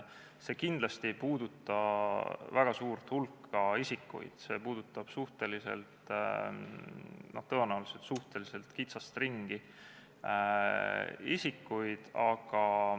See kindlasti ei puuduta väga suurt hulka isikuid, see puudutab tõenäoliselt suhteliselt kitsast ringi isikuid.